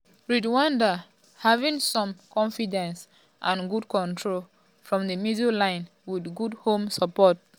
rwanda having some confidence and good control from di middle line wit good home support.